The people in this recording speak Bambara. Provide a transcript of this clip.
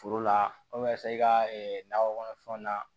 Foro lasa i ka nakɔ kɔnɔfɛnw na